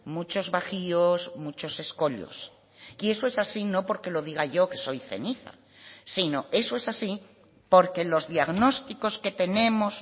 muchos bajíos muchos escollos y eso es así no porque lo diga yo que soy ceniza sino eso es así porque los diagnósticos que tenemos